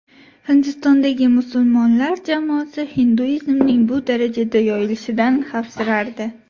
Hindistondagi musulmon jamoasi hinduizmning bu darajada yoyilishidan xavfsirardi.